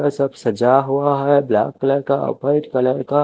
ये सब सजा हुआ है ब्लैक कलर का वाइट कलर का--